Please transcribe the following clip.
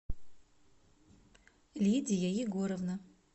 лидия егоровна